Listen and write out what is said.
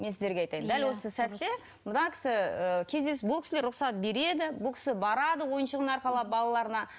мен сіздерге айтайын дәл осы сәтте мына кісі бұл кісілер рұқсат береді бұл кісі барады ойыншығын арқалап балаларына